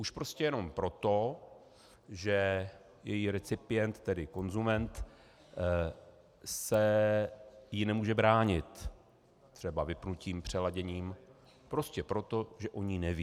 Už prostě jenom proto, že její recipient, tedy konzument, se jí nemůže bránit třeba vypnutím, přeladěním, prostě proto, že o ní neví.